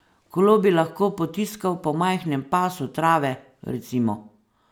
Kolo bi lahko potiskal po majhnem pasu trave, recimo.